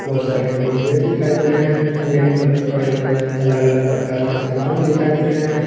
बहोत सारे डिबे दिखाई दे रहे हैं रैंक पर पड़े हुए अलग अलग प्रकार के समान दिखाई दे रहे हैं।